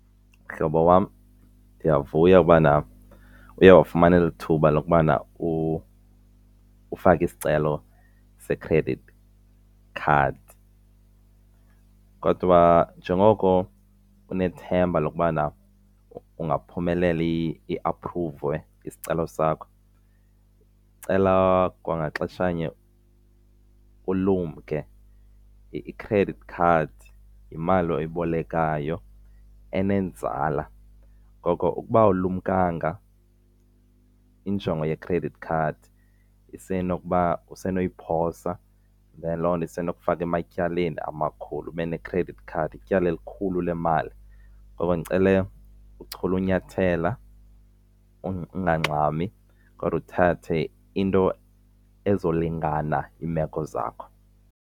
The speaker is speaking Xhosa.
Mhlobo wam, ndiyavuya ubana uye wafumana eli thuba lokubana ufake isicelo se-credit card. Kodwa njengoko unethemba lokubana ingaphumeleli i-aphruviwe isicelo sakho, cela kwangaxeshanye ulumke i-credit card yimali oyibolekayo enenzala. Ngoko ukuba awulumkanga injongo ye-credit card usenokuba usenayiphosa then loo nto isenokufaka ematyaleni amakhulu. Ube ne-credit card ityala elikhulu le mali, ngoko ndicela uchule ukunyathela ungangxami kodwa uthathe into ezolingana iimeko zakho.